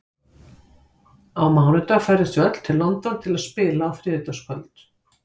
Á mánudag ferðumst við til London til að spila á þriðjudagskvöld.